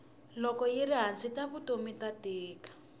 loko yiri hansi ta vutomi ta tika